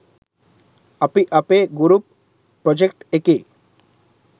අපි අපේ group project එකේ